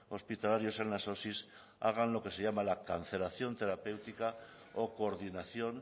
hospitalarios en las osi hagan lo que se llama la cancelación terapéutica o coordinación